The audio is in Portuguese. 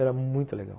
Era muito legal.